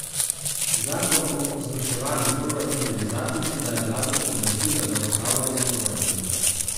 Zakon o izvrševanju proračuna je zakon, ki daje vladi pooblastila za upravljanje proračuna.